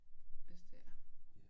Hvis det er